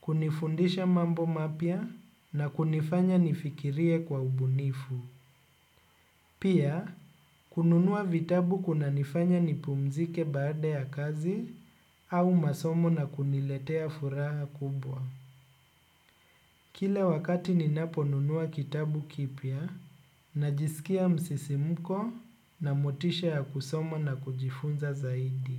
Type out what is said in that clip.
kunifundisha mambo mapya na kunifanya nifikirie kwa ubunifu. Pia kununua vitabu kunanifanya nipumzike baada ya kazi au masomo na kuniletea furaha kubwa. Kila wakati ninaponunua kitabu kipya, najisikia msisimko na motisha ya kusoma na kujifunza zaidi.